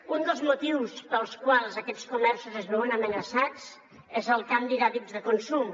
un dels motius pels quals aquests comerços es veuen amenaçats és el canvi d’hàbits de consum